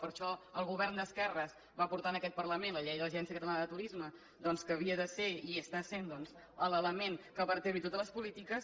per això el govern d’esquerres va portar a aquest parlament la llei de l’agència catalana de turisme que havia de ser i està sent l’element que vertebra totes les polítiques